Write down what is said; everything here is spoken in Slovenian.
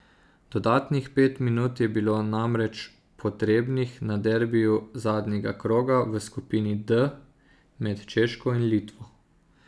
Dodatnih pet minut je bilo namreč potrebnih na derbiju zadnjega kroga v skupini D med Češko in Litvo.